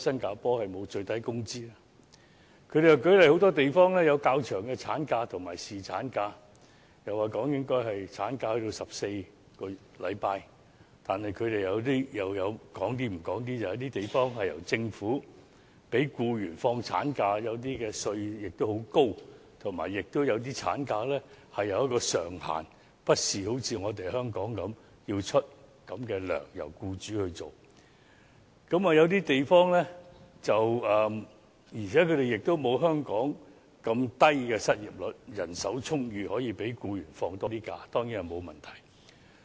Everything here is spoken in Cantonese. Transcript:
他們又舉例說很多地方有較長的產假和侍產假，又說產假應該增至14周，但他們卻不說有些地方由政府支薪給放產假的僱員；有些地方的稅率也很高；有些地方為產假設立薪酬上限，不像香港般由僱主支付僱員原有的薪金；有些地方亦沒有像香港這麼低的失業率，當地人手充裕，讓僱員多放假當然也沒有問題。